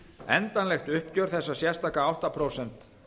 endanlegt uppgjör þessa sérstaka átta prósent